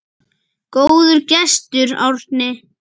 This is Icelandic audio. Góður gestur, Árni.